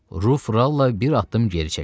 Ruf Ralla bir addım geri çəkildi.